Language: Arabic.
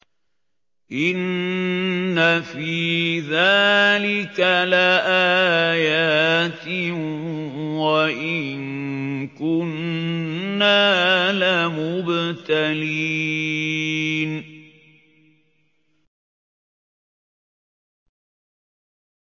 إِنَّ فِي ذَٰلِكَ لَآيَاتٍ وَإِن كُنَّا لَمُبْتَلِينَ